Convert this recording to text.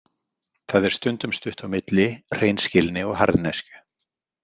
Það er stundum stutt á milli hreinskilni og harðneskju.